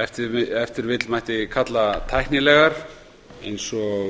ef til vill mætti kalla tæknilegar eins og